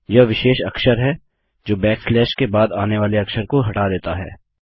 यह विशेष अक्षर हैं जो बैक स्लैश के बाद आने वाले अक्षर को हटा देता है